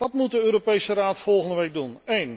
Wat moet de Europese Raad volgende week doen?